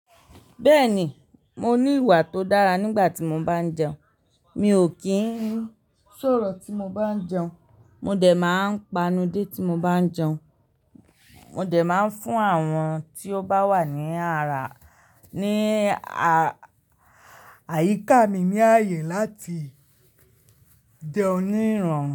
Bẹ́ẹ̀ni, mo ní ìwà tó dára nígbà tí mo bá ń jẹun. Mi ò kí ń sọ̀rọ̀ tí mo bá ń jẹun. Mo dẹ̀ máa ń panudé tí mo bá ń jẹun. Mo dẹ̀ máa ń fún àwọn tí ó bá wà ní àrá ní àyíká mi ní ààyè láti jẹ oní ìran.